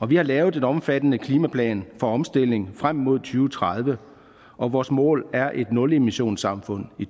vi har lavet en omfattende klimaplan for omstilling frem mod to tredive og vores mål er et nulemissionssamfund i